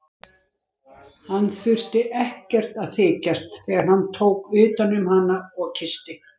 Hann þurfti ekkert að þykjast þegar hann tók utan um hana og kyssti.